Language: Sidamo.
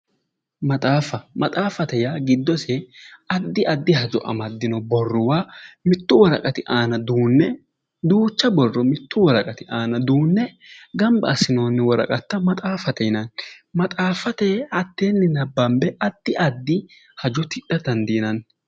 Maxaafa, maxaaffate yaa giddose addi addi hajo amaddino borruwwa mittu woraqati aana duunne duucha borro mittu woraqati aana duunne gamba assinoonni woraqatuwwa maxaaffate yinanni. Maxaaffate addanni nabbambe addi addi hajo tidha dandiinanni.